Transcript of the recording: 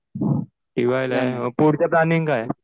T वायला आहे. मग पुढचं प्लॅनिंग काय?